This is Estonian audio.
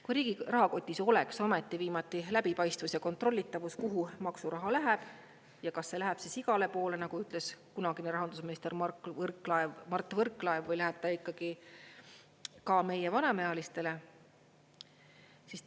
Kui riigi rahakotis oleks ometi viimati läbipaistvus ja kontrollitavus, kuhu maksuraha läheb ja kas see läheb siis igale poole, nagu ütles kunagine rahandusminister Mart Võrklaev, või läheb ta ikkagi ka meie vanemaealistele?